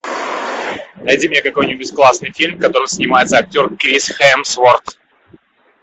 найди мне какой нибудь классный фильм в котором снимается актер крис хемсворт